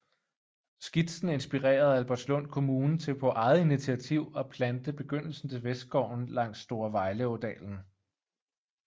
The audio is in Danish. Skitsen inspirerede Albertslund Kommune til på eget initiativ at plante begyndelsen til Vestskoven langs Store Vejleådalen